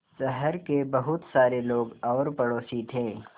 शहर के बहुत सारे लोग और पड़ोसी थे